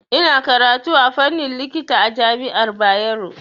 Ina karatu a fannin likita a jami'ar Bayero.